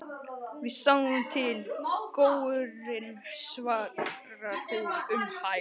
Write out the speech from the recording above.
Við sjáum til, góurinn, svarar hún um hæl.